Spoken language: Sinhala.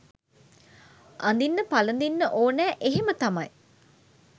අඳින්න පළඳින්න ඕනා එහෙම තමයි.